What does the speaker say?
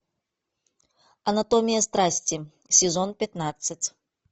анатомия страсти сезон пятнадцать